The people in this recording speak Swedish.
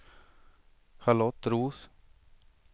Charlotte Roth